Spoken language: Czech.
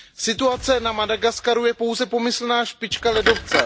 Situace na Madagaskaru je pouze pomyslná špička ledovce.